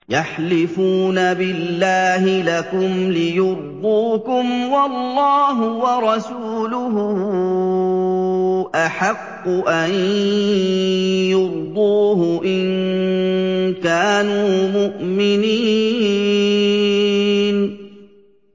يَحْلِفُونَ بِاللَّهِ لَكُمْ لِيُرْضُوكُمْ وَاللَّهُ وَرَسُولُهُ أَحَقُّ أَن يُرْضُوهُ إِن كَانُوا مُؤْمِنِينَ